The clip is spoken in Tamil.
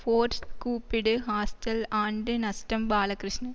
ஃபோர்ஸ் கூப்பிடு ஹாஸ்டல் ஆண்டு நஷ்டம் பாலகிருஷ்ணன்